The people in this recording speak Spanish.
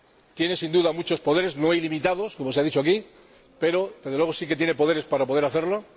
Tiene sin duda muchos poderes, no ilimitados, como se ha dicho aquí, pero, desde luego, sí que tiene poderes para poder hacerlo.